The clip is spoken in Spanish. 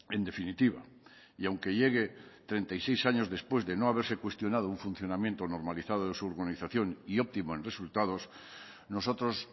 en definitiva y aunque llegue treinta y seis años después de no haberse cuestionado un funcionamiento normalizado de su organización y óptimo en resultados nosotros